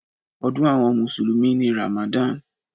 Ọdún àwọn mùsùlùmí ni Ramadan.